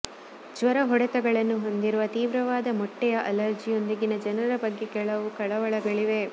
ಜ್ವರ ಹೊಡೆತಗಳನ್ನು ಹೊಂದಿರುವ ತೀವ್ರವಾದ ಮೊಟ್ಟೆಯ ಅಲರ್ಜಿಯೊಂದಿಗಿನ ಜನರ ಬಗ್ಗೆ ಕೆಲವು ಕಳವಳಗಳಿವೆ